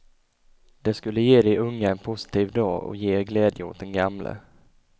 Det skulle ge de unga en positiv dag och ge glädje åt den gamle.